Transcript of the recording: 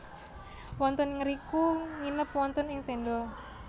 Wonten ngriku nginep wonten ing tenda